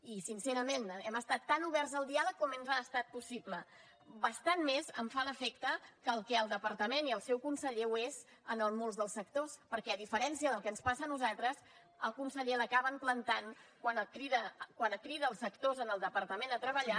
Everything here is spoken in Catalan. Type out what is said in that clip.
i sincerament hem estat tan oberts al diàleg com ens ha estat possible bastant més em fa l’efecte que el que el departament i el seu conseller ho són en molts dels sectors perquè a diferència del que ens passa a nosaltres al conseller l’acaben plantant quan crida els sectors en el departament a treballar